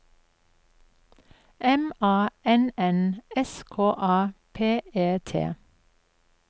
M A N N S K A P E T